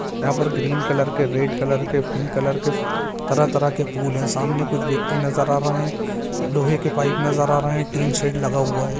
यहाँ पर green colour के रेड कलर के पिंक कलर के तरह-तरह के फूल हैं सामने कुछ व्यक्ति नजर आ रहे हैं लोहे के पाइप नजर आ रहे हैं टीन शेड लगा हुआ है।